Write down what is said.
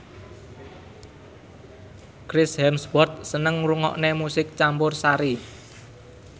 Chris Hemsworth seneng ngrungokne musik campursari